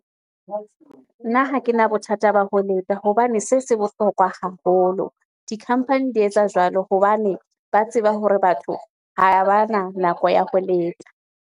Nna ha ke na bothata ba ho leta hobane se se bohlokwa haholo. Di-company di etsa jwalo hobane ba tseba hore batho ha ba na nako ya ho leta.